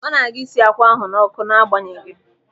Ọ na-aga isi akwa ahụ n'ọkụ n'agbanyeghị.